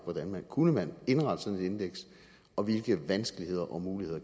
hvordan man kunne indrette sådan et indeks og hvilke vanskeligheder og muligheder